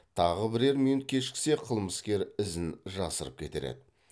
тағы бірер минут кешіксе қылмыскер ізін жасырып кетер еді